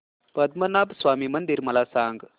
पद्मनाभ स्वामी मंदिर मला सांग